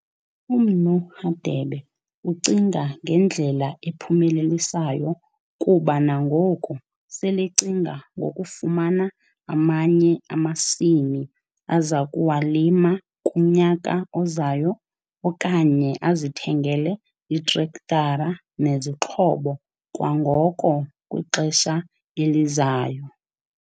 UMnu Hadebe ucinga ngendlela ephumelelisayo kuba nangoku selecinga ngokufumana amanye amasimi aza kuwalima kunyaka ozayo okanye azithengele itrektara nezixhobo kwangoko kwixesha elizayo.